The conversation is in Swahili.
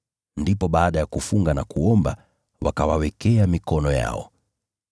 Ndipo baada ya kufunga na kuomba, wakawawekea mikono yao na wakawatuma waende zao.